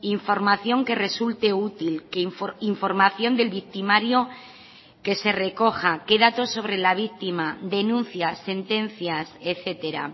información que resulte útil que información del victimario que se recoja que datos sobre la víctima denuncias sentencias etcétera